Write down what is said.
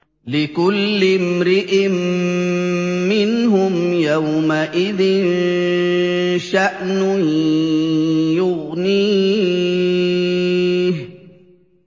لِكُلِّ امْرِئٍ مِّنْهُمْ يَوْمَئِذٍ شَأْنٌ يُغْنِيهِ